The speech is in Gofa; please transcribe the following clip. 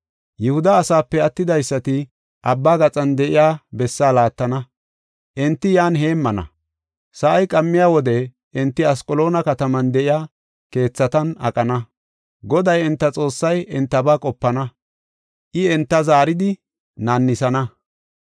Yihuda asape attidaysati abba gaxan de7iya bessaa laattana; enti yan heemmana. Sa7ay qammiya wode enti Asqaloona kataman de7iya keethatan aqana. Goday enta Xoossay entaba qopana; I enta zaaridi naannisana.